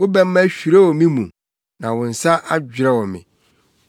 Wo bɛmma hwirew me mu, na wo nsa adwerɛw me.